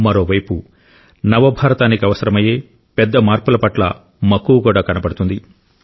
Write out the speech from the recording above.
మరోవైపు నవ భారతానికి అవసరమయ్యే పెద్ద మార్పుల పట్ల మక్కువ కూడా కనబడుతుంది